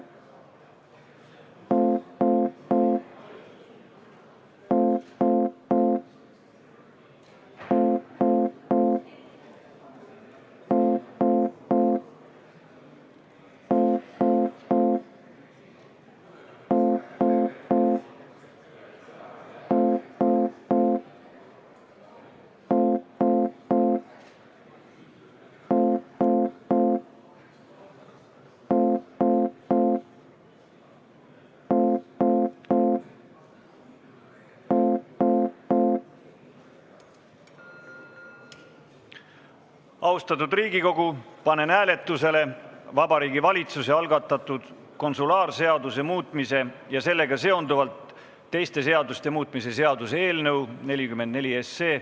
Austatud Riigikogu, panen hääletusele Vabariigi Valitsuse algatatud konsulaarseaduse muutmise ja sellega seonduvalt teiste seaduste muutmise seaduse eelnõu.